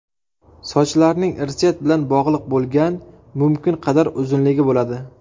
Sochlarning irsiyat bilan bog‘liq bo‘lgan mumkin qadar uzunligi bo‘ladi.